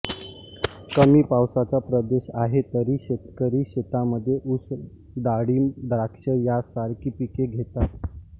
कमी पावसाचा प्रदेश आहे तरी शेतकरी शेतामध्ये ऊस डाळीब द्राक्ष या सारकी पीके घेतात